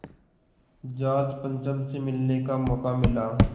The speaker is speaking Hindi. जॉर्ज पंचम से मिलने का मौक़ा मिला